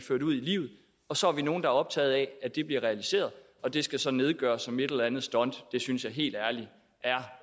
livet så er vi nogle der er optagede af at det bliver realiseret og det skal så nedgøres som et eller andet stunt det synes jeg helt ærligt er